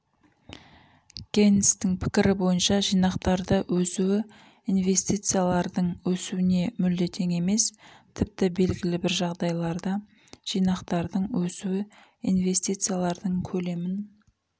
кейнстің пікірі бойынша жинақтардың өсуі инвестициялардың өсуіне мүлде тең емес тіпті белгілі бір жағдайларда жинақтардың өсуі инвестициялардың көлемін